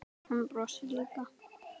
Hann brosir líka.